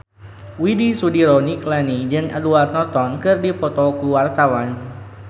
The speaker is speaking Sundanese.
Widy Soediro Nichlany jeung Edward Norton keur dipoto ku wartawan